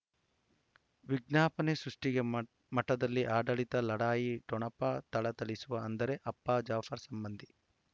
ವಿಜ್ಞಾಪನೆ ಸೃಷ್ಟಿಗೆ ಮ ಮಠದಲ್ಲಿ ಆಡಳಿತ ಲಢಾಯಿ ಠೊಣಪ ಥಳಥಳಿಸುವ ಅಂದರೆ ಅಪ್ಪ ಜಾಫರ್ ಸಂಬಂಧಿ